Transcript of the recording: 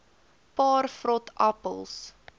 paar vrot appels